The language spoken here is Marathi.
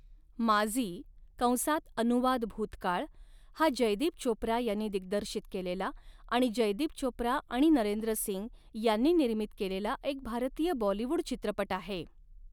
माज़ी' कंसात अनुवाद भूतकाळ हा जयदीप चोप्रा यांनी दिग्दर्शित केलेला आणि जयदीप चोप्रा आणि नरेंद्र सिंग यांनी निर्मित केलेला एक भारतीय बॉलिवूड चित्रपट आहे.